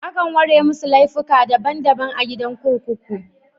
Akan ware masu laifuka daban daban a gidan kurkuku.